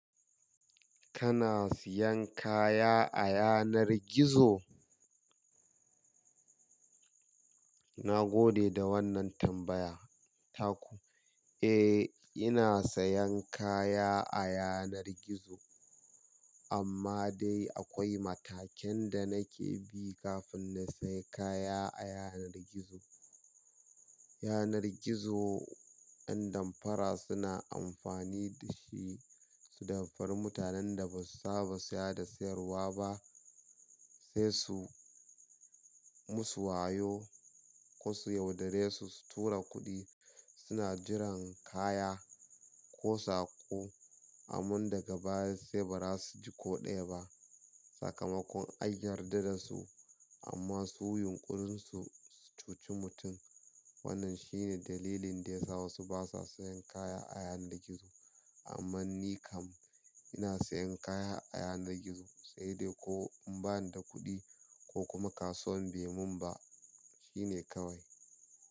Kana siyan kaya a yanar gizo? Na gode da wannan tambaya Taku. Eh, ina sayan kaya a yanar gizo amma dai akwai matakan da nake bi kafin na sai kaya a yanar gizo. Yanar gizo, 'yan damfara suna amfani da shi su damfari mutanen da ba su saba siya da sayarwa ba, sai su musu wayo ko su yaudare su su tura kuɗi. Suna jiran kaya ko saƙo, amman daga baya sai ba za su ji ko ɗaya ba. Sakamakon an yarda da su amma su yunƙurinsu su cuci mutum. Wannan shi ne dalilin da ya sa wasu ba sa sayan kaya a yanar gizo. Amma ni kam ina sayan kaya a yanar gizo, sai dai ko in bani da kuɗi ko kuma kasuwan bai mun ba. Shi ne kawai.